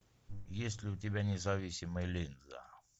есть ли у тебя независимая линза